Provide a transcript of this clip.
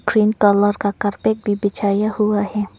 Green colour carpet भी बिछाया हुआ है।